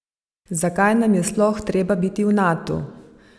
Zakaj nam je sploh treba biti v Natu?